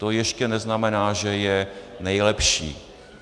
To ještě neznamená, že je nejlepší.